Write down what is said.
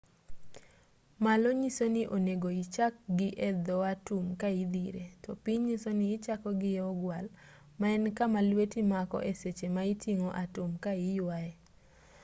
malo nyiso ni onego ichak gi e dho atum ka idhire to piny nyiso ni ichako gi e ogwal maen kama lweti mako e seche ma iting'o atum ka iyuaye